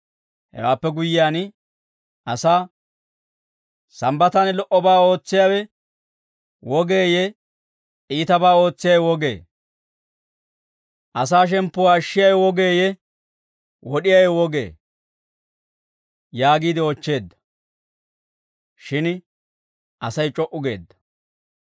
Hewaappe guyyiyaan asaa, «Sambbataan lo"obaa ootsiyaawe wogeeyye iitabaa ootsiyaawe wogee? Asaa shemppuwaa ashshiyaawe wogeeyye wod'iyaawe wogee?» yaagiide oochcheedda. Shin Asay c'o"u geedda.